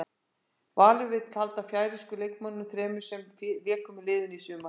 Valur vill halda færeysku leikmönnunum þremur sem léku með liðinu í sumar.